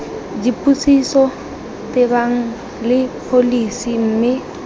dipotsiso tebang le pholesi mme